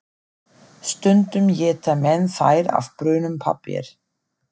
Stundum éta menn þær af brúnum pappír.